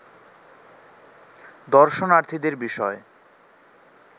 দর্শনার্থীদের বিষয়